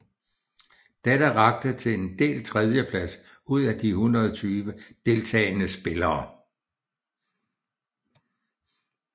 Dette rakte til en delt tredjeplads ud af de 120 deltagende spillere